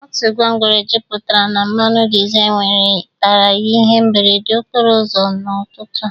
Otu gwongworo jupụtara na mmanụ dizel nwetara ihe mberede okpro ụzọ n'ụtụtụ a.